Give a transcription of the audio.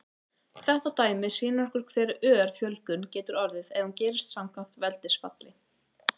Þetta dæmi sýnir okkur vel hve ör fjölgun getur orðið ef hún gerist samkvæmt veldisfalli.